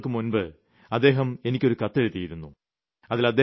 കുറച്ചു ദിവസങ്ങൾക്കു മുമ്പ് അദ്ദേഹം എനിയ്ക്ക് ഒരു കത്തെഴുതിയിരുന്നു